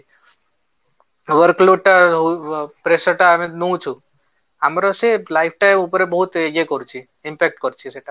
overflow ଟା pressure ଟା ଆମେ ନଉଛୁ ଆମର ସେ life ଟା ଉପରେ ସେ ବହୁତ ଇଏ କରୁଛି impact କରୁଛି ସେଟା